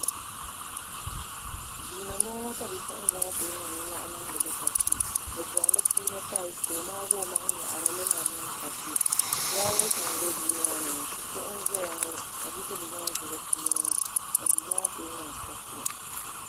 duu ni n bɔŋɔ ka bipuɣungi ŋɔ ku niŋ nimmohi niŋdili kashi bi soŋ di puuni taals ka o maagi o maŋa nyaɣarili ni di niŋ kashi fulaawɛs nim bɛ duu maa ni kuɣu n ʒɛya ŋɔ ka bidibgi ŋɔ ʒi di puuni ka duu maa kuli niŋ kashi